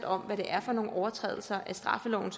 om hvad det er for nogle overtrædelser af straffeloven